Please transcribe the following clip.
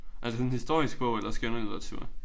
Er det sådan en historisk bog eller skønlitteratur?